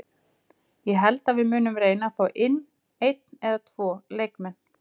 Ég held að við munum reyna fá inn einn eða tvo leikmenn.